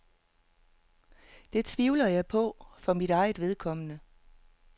Det tvivler jeg på for mit eget vedkommende.